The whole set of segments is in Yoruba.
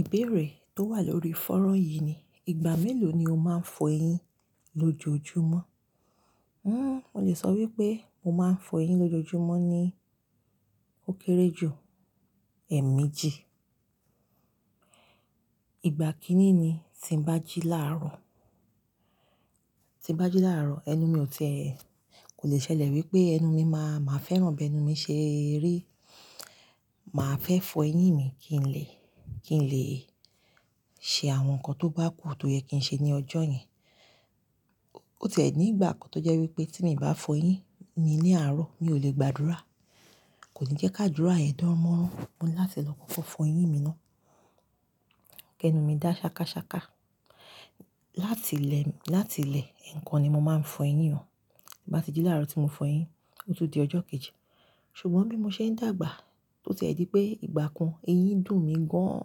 Ìbéèrè tó wà lórí fanran yì ni, ìgbà mélòó ni o máa ń fọ eyín lójoojúmọ́? Hmmm mo lè sọ wípé mo máa ń fọ eyín lójoojúmọ́ ní ó kéré jù èmi jí. Ìgbà kìn-ín ni tí ń bá jí láàárọ̀, tí ń bá jí láàárọ̀ ẹnu mi ò ti ẹ. Kò lè ṣẹlẹ̀ wípé ẹnu mi máa, máa fẹ́ràn bí ẹnu mi ṣe rí. Màá fẹ́ fọ eyín mi kí n lè, kí n lè ṣe àwọn nǹkan tó bá kù tó yẹ kí ń ṣe ní ọjọ́ yẹn. Ó ti ẹ̀ ní ìgbà kan tó jẹ́ wípé tí mi bá fọ eyín mi ní àárọ̀, mi ò lè gbàdúrà. Kò ní jẹ́ ká dúrà ye dán mọ́. Mo ń láti lọ kọ́kọ́ fọ eyín mi ná. Kí ẹnu mi dà ṣakásáká. Láti lẹ́, láti lẹ́ ẹ̀kan ni mo máa ń fọ eyín o. Ìbá ti jí láàárọ̀ tí mo fọ eyín, ó tún di ọjọ́ kejì. Ṣùgbọ́n bí mo ṣe ń dàgbà, ó ti ẹ̀ di pé ìgbà kan eyín dùn mí gan an.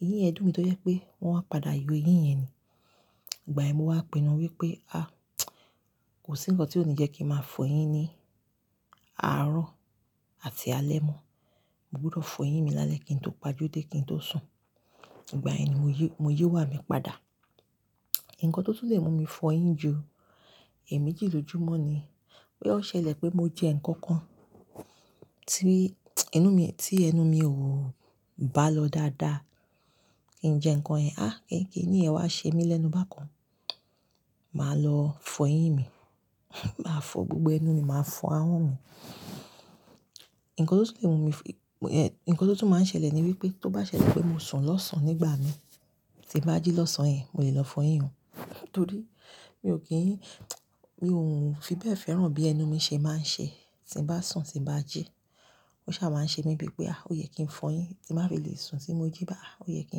Eyín ẹ dùn mi tó jẹ́ pé wọ́n wá pàdà yọ eyín yẹn ni. Ìgbà yẹn mo wá pinnu wípé, a! Kò sí ǹkan tí ó ní jẹ́ kí ń máa fọ eyín ní àárọ̀ àti alẹ́ mọ́. Mo gbúdọ̀ fọ eyín mi lálẹ́ kí n tó pa ojú dé kí n tó sùn. Ìgbà yẹn ni mo yí, mo yí wà mí padà. Nǹkan tó tún lè mú mi fọ eyín ju èmi jí lójoojúmọ́ ni wípé ó ṣẹlẹ̀ pé mo jẹ nǹkan kan tí inú mi, tí ẹnu mi ò bá lọ dáadáa. Kì ń jẹ nǹkan ẹ, a! Kì kíni yẹn wá ṣe mí lẹ́nu bá kan. Màá lọ fọ eyín mi. Màá fọ gbogbo ẹnu mi, màá fọ ahọ́n mi. Nǹkan tó tún lè mú mi, nǹkan tó tún máa ń ṣẹlẹ̀ ni wípé tó bá ṣẹlẹ̀ wípé mo sùn lọ́sàn-án nígbà mi tí ń bá jí lọ́sàn-án yẹn, mo lè lọ fọ eyín o. Torí mi ò kí n, mi ò ń fi bẹ́ẹ̀ fẹ́ràn bí ẹnu mi ṣe máa ń ṣe tí ń bá sùn, tí bá jí. Ó ṣà máa ń ṣe mí bí pé, a! O yẹ kí ń fọ eyín tí màá fi lè sùn tí mo jí. Bàá o yẹ kí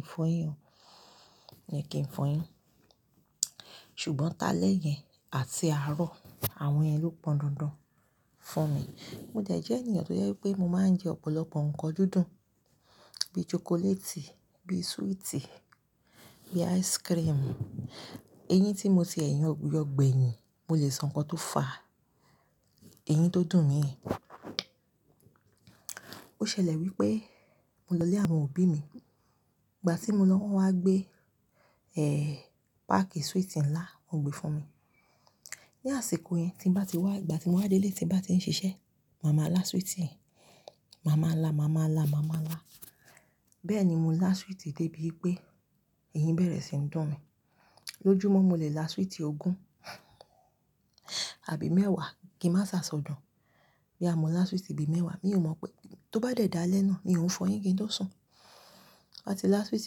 ń fọ eyín o. O yẹ kí ń fọ eyín. Ṣùgbọ́n tálẹ́ yẹn àti àárọ̀, àwọn yẹn ló pọ́n dandan fún mi. Mo dẹ̀ jẹ́ ènìyàn tó jẹ́ wípé mo máa ń jẹ ọ̀pọ̀lọpọ̀ nǹkan dúdú bí chocolate, bí sweet, bí ice cream. Eyín tí mo ti mo ṣe yọ gbẹ̀yìn, mo lè sọ nǹkan tó fà eyín tó dùn mí. Ó ṣẹlẹ̀ wípé mo lọ lé àwọn òbí mi. Ìgbà tí mo lọ wọ́n wá gbé, eh! Páàkì sweet ńlá wọ́n gbé fún mi. Ní àsìkò yẹn tí ń bá ti wá, ìgbà tí mo wá délé tí ń bá ti ń ṣiṣẹ́, màá máa la sweet yẹn. Màá máa la, màá máa la, màá máa la. Bẹ́ẹ̀ ni mo la sweet dé bí pé eyín bẹ̀rẹ̀ sí ń dùn mí. Lójúmọ́ mo lè la sweet ogún àbí mẹ́wàá kí ń má sáṣọ dùn. Bí a mọ la sweet bíi mẹ́wàá, mi ò mọ pé tó bá dẹ̀ dà lẹ́ná ni n òún fọ eyín kí n tó sùn. Mo bá ti la sweet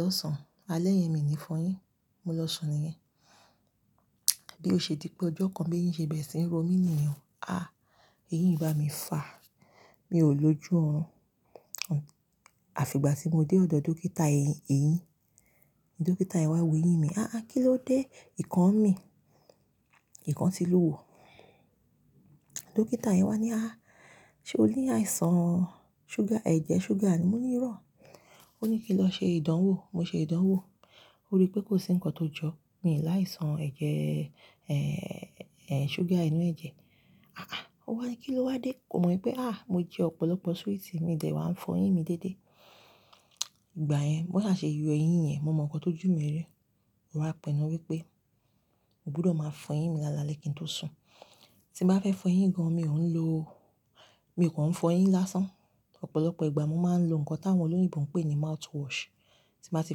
lọ́sàn- alẹ́ yẹn mi ní fọ eyín. Mo lọ sùn ni yẹn. Bí ó ṣe dí pé ọjọ́ kan bí eyín ṣe bẹ̀rẹ̀ sí ń ro mí nìyẹn. A! Eyín bá mi fà. Mi ò lójú orun. Àfi ìgbà tí mo dé ọ̀dọ̀ dókítà eyín. Dókítà yẹn wá wo eyín mi. "A! Kí ló dé?" "Ìkan mi. Ìkan ti lù wò." Dókítà yẹn wá ní, "A! Ṣé o ní àìsàn sugar, ẹ̀jẹ̀ sugar ni?" Mo ní rọ́. Ó ní kí lọ ṣe ìdánwò. Mo ṣe ìdánwò. Ó rí pé kò sí nǹkan tó jọ. Mi láìsàn ẹ̀jẹ̀, eh! Eh! Sugar inú ẹ̀jẹ̀. A! A! Ó wá ní kí ló wá dé? Mo mọ wípé a! Mo jẹ ọ̀pọ̀lọpọ̀ sweet, mi dẹ̀ wá ń fọ eyín mi dédé. Ìgbà yẹn bó ṣà ṣe yọ eyín yẹn, mo mọ nǹkan tó ju mi rí. Mo wá pinnu wípé mo gbúdọ̀ máa fọ eyín mi lálẹ́ kí n tó sùn. Tí mo bá fẹ́ fọ eyín gan an mi ò ń lo, mi kań fọ eyín lásán. Ọ̀pọ̀lọpọ̀ ìgbà mo máa ń lo nǹkan táwọn olóyìnbo ń pè ní mouthwash. Tí mo bá ti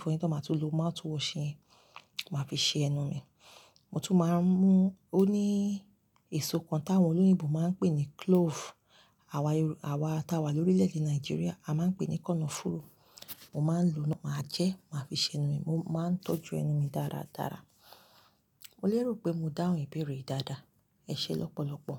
fọ eyín tán má tún lo mouthwash yẹn, màá fi ṣe ẹnu mi. Mo tún máa ń mú-- ó ní èso kan táwọn olóyìnbo máa ń pè ní clove. Àwa Yorùbá, àwa tí a wà lórílẹ̀ èdè Nàìjíríà a máa ń pè ní kọnofúrú. Mo máa ń lo ná, màá jẹ́, màá fi ṣe ẹnu mi. Mo máa ń tọ́jú ẹnu mi dáradára. Mo lè rò pé mo dáhùn ìbéèrè yì dada. Ẹ ṣé lọ́pọ̀lọpọ̀.